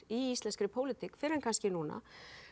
í íslenskri pólitík fyrr en kannski núna